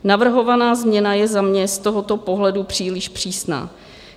Navrhovaná změna je za mě z tohoto pohledu příliš přísná.